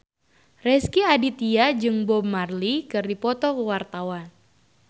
Rezky Aditya jeung Bob Marley keur dipoto ku wartawan